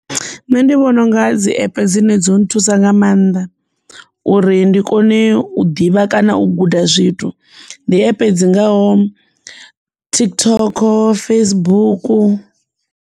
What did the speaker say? Nṋe ndi vhona unga dzi app dzine dzo nthusa nga maanḓa uri ndi kone u ḓivha kana u guda zwithu ndi epe dzi ngaho TikTok, Facebook.